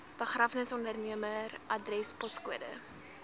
begrafnisondernemer adres poskode